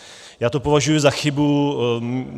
Já to považuji za chybu.